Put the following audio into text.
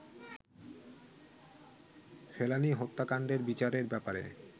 ফেলানি হত্যাকান্ডের বিচারের ব্যাপারে